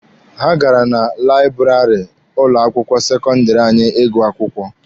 Ha gara na laịbụrarị ụlọ akwụkwọ sekọndịrị anyị ịgụ akwụkwọ.